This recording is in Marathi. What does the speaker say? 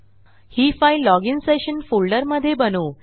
ही फाईलlogin सेशन फोल्डर मधे बनवू